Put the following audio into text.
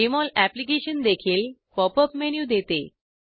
Jmol अॅप्लिकेशनदेखील pop up menu देते